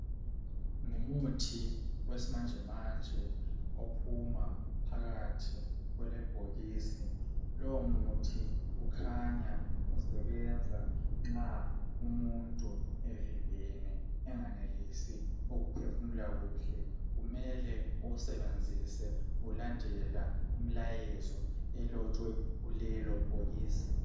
Ngumuthi wesimanje manje ophuma. phakarhi kwe bhokisi .Lowo muthi kukhanya usebenza nxa umuntu evimbene engenelisi ukuphefumula kuhle. Kumele uwusebenzise ulandela imlayezo elotshwe kulelo bhokisi.